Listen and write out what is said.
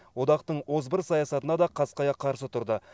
одақтың озбыр саясатына да қасқая қарсы тұрды